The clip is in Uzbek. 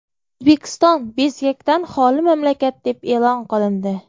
O‘zbekiston bezgakdan xoli mamlakat deb e’lon qilindi.